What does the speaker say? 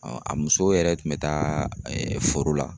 a muso yɛrɛ tun bɛ taa foro la